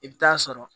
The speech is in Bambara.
I bɛ taa sɔrɔ